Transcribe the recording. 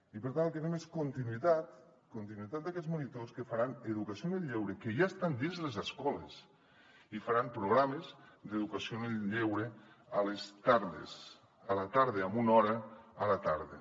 i per tant el que fem és continuïtat continuïtat d’aquests monitors que faran educació en el lleure que ja estan dins les escoles i faran programes d’educació en el lleure a les tardes amb una hora a la tarda